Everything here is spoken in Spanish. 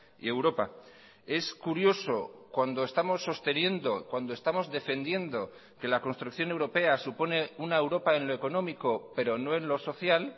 y europa es curioso cuando estamos sosteniendo cuando estamos defendiendo que la construcción europea supone una europa en lo económico pero no en lo social